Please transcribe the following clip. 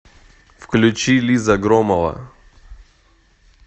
включи лиза громова